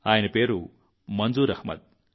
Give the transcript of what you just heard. ఆయన పేరు మంజూర్ అహ్మద్